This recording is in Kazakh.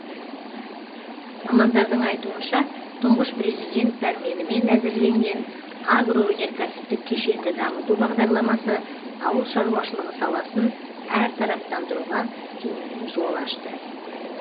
мамандардың айтуынша тұңғыш президент пәрменімен әзірленген агроөнеркәсіптік кешенді дамыту бағдарламасы ауыл шаруашылығы саласын әртараптандыруға кеңінен жол ашты